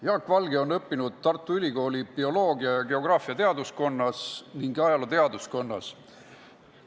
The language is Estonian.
Jaak Valge on õppinud Tartu Ülikooli bioloogia ja geograafia teaduskonnas ning ajaloo osakonnas.